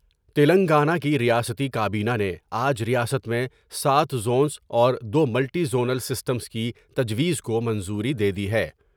تلنگانہ کی ریاستی کابینہ نے آج ریاست میں ساتھ ز ونس اور دو ملٹی زونل سسٹمس کی تجویز کومنظوری دے دی ہے ۔